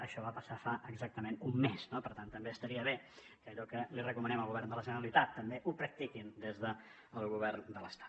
això va passar fa exactament un mes no per tant també estaria bé que allò que li recomanem al govern de la generalitat també ho practiquin des del govern de l’estat